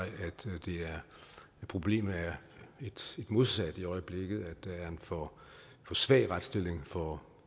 problemet er det modsatte i øjeblikket nemlig at der er for svag en retsstilling for